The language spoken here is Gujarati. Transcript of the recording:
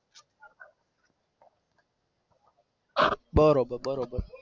બરોબર બરોબર છે.